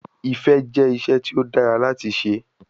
Ifẹ jẹ iṣẹ ti o dara lati ṣe